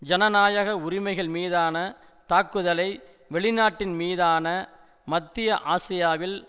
ஜனநாயக உரிமைகள் மீதான தாக்குதலை வெளிநாட்டின் மீதான மத்திய ஆசியாவில்